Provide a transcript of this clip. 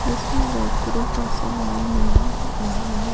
जिसमें बैकरी का सामान मिल रहा है।